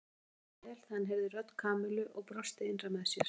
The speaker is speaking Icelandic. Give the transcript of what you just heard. Nikka leið vel þegar hann heyrði rödd Kamillu og brosti innra með sér.